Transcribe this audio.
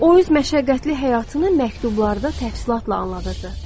O öz məşəqqətli həyatını məktublarda təfsilatla anladırdı.